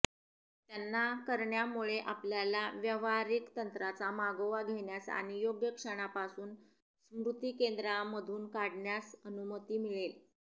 त्यांना करण्यामुळे आपल्याला व्यावहारिक तंत्रांचा मागोवा घेण्यास आणि योग्य क्षणापासून स्मृतीकेंद्रांमधून काढण्यास अनुमती मिळेल